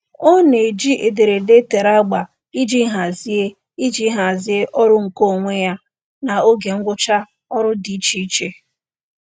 Ọ na-eji ederede e tere agba iji hazie iji hazie ọrụ nkeonwe ya na oge ngwụcha ọrụ dị icheiche.